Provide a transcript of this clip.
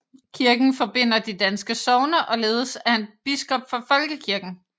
Kirken forbinder de danske sogne og ledes af en biskop for folkekirken